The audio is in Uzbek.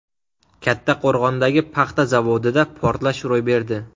Kattaqo‘rg‘ondagi paxta zavodida portlash ro‘y berdi.